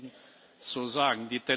Dass muss ich Ihnen so sagen.